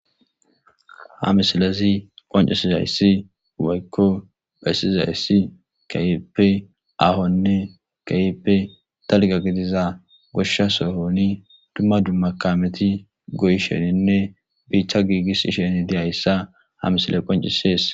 Ha misilezi qoncisizaysi woyko besizaysi keehippe ahonne keehippe dalga gidiza gosha sohoni duma duma kaameti goyisheninne bitta giigisishe dizaysa ha misiley qoncisees.